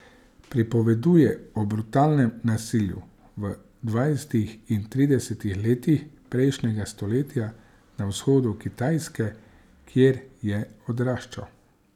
Pripoveduje o brutalnem nasilju v dvajsetih in tridesetih letih prejšnjega stoletja na vzhodu Kitajske, kjer je odraščal.